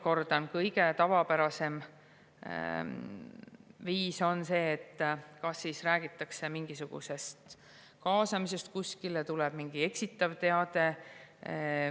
Veel kord: kõige tavapärasem viis on see, et kas räägitakse mingisugusest kaasamisest kuskile või tuleb mingi eksitav teade.